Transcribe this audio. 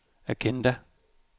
agenda